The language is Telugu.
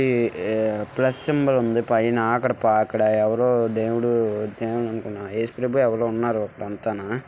ఈ-ఈ ప్లస్ సింబల్ ఉంది. పైన అక్కడ ప అక్కడ ఎవరో దేవుడు ఏసు ప్రభువు ఎవరో ఉన్నారు. అక్కడ అంతాన.